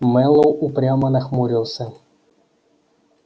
мэллоу упрямо нахмурился